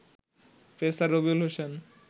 pacer Rabiul Hossain